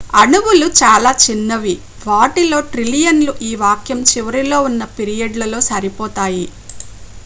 అణువులు చాలా చిన్నవి వాటిలో ట్రిలియన్లు ఈ వాక్యం చివరిలో ఉన్న పీరియడ్లలో సరిపోతాయి